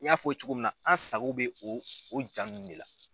N y'a fɔ cogo min na an sago bɛ o o jaa nunnu de la.